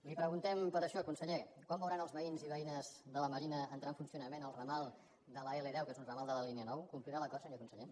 li preguntem per això conseller quan veuran els veïns i veïnes de la marina entrar en funcio nament el ramal de l’l10 que és un ramal de la línia nou complirà l’acord senyor conseller